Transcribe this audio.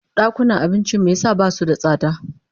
Dakunan abincin me yasa basu da tsada?